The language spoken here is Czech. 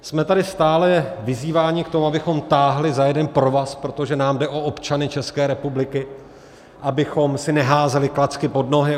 Jsme tady stále vyzýváni k tomu, abychom táhli za jeden provaz, protože nám jde o občany České republiky, abychom si neházeli klacky pod nohy.